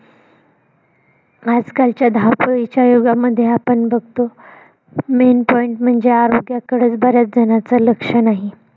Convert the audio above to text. आजकालच्या धावपळीच्या युगामध्ये आपण बघतो. mean point म्हणजे आरोग्याकडेच बऱ्याच झनांच नाही.